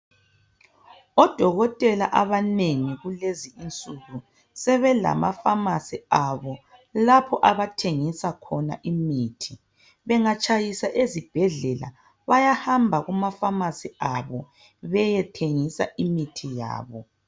Odokotela abanengi kulezinsuku sebelama famasi abo lapho abathengisa khona imithi bengatshayisa ezibhedlela bayahamba kumafamasi abo beyethengisa imithi yabo.